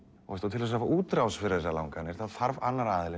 til þess að fá útrás fyrir þessar langanir þá þarf annar